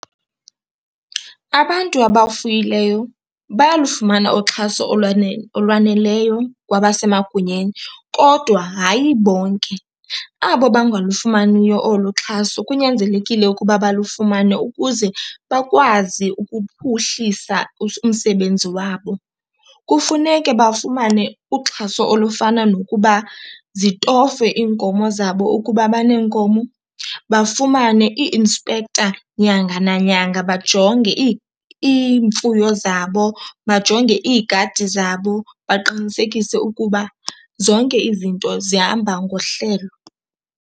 Abantu abafuyileyo bayalufumana uxhaso olwaneleyo kwabasemagunyeni kodwa hayi bonke. Abo bangalufumaniyo olu xhaso kunyanzelekile ukuba balufumane ukuze bakwazi ukuphuhlisa umsebenzi wabo. Kufuneke bafumane uxhaso olufana nokuba zitofwe iinkomo zabo ukuba baneenkomo, bafumane i-inspector nyanga nanyanga bajonge iimfuyo zabo, bajonge iigadi zabo baqinisekise ukuba zonke izinto zihamba ngohlelo.